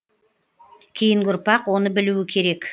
кейінгі ұрпақ оны білуі керек